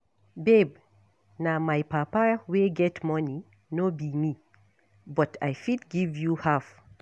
Babe na my papa wey get money no be me but I fit give you half